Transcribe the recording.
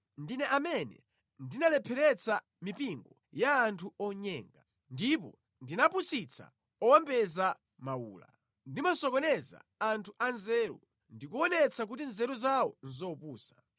Ndine amene ndinalepheretsa mipingo ya anthu onyenga, ndipo ndimapusitsa owombeza mawula. Ndimasokoneza anthu a nzeru, ndi kuonetsa kuti nzeru zawo nʼzopusa.